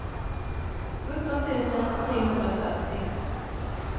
sjutton tusen trehundrafyrtio